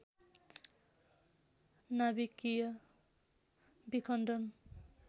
नाभिकीय विखण्डन